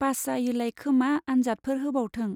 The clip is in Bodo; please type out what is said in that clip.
पास जायोलायखोमा आन्जादफोर होबावथों।